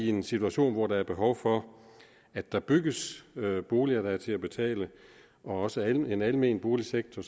en situation hvor der er behov for at der bygges boliger der er til at betale og også en almen boligsektor